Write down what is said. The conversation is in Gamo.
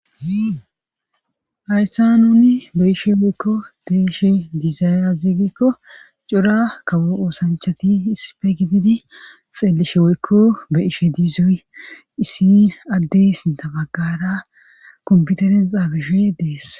hayssa nuni be ishe woykko de ishe diizaya ziigikko cora kawo oosanchati issife gididi xeelishe woykko be ishe diizoy issi addey sinta baggara komputeren xaabishe dees